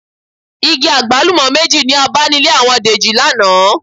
Igi àgbálùmọ́ méjì ni a bá nílé àwọn Dèjì lánàá